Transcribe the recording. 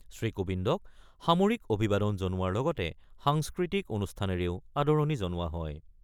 শ্ৰীকোবিন্দক সামৰিক অভিবাদন জনোৱাৰ লগতে সাংস্কৃতিক অনুষ্ঠানেৰেও আদৰণি জনোৱা হয়।